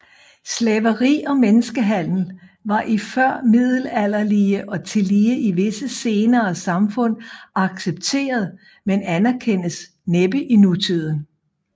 Slaveri og menneskehandel var i førmiddelalderlige og tillige i visse senere samfund accepteret men anerkendes næppe i nutiden